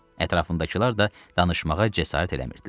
Ətrafındakılar da danışmağa cəsarət eləmirdilər.